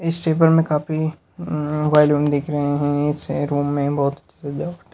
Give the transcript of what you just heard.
इस टेबल में काफी उम्म बैलून दिख रहे है इस रूम में बहुत अच्छी सजावट है।